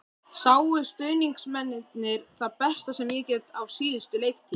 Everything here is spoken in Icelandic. Sáu stuðningsmennirnir það besta sem ég get á síðustu leiktíð?